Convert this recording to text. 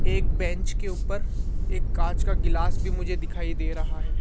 एक बेंच के ऊपर एक कांच का गिलास भी मुझे दिखाई दे रहा है।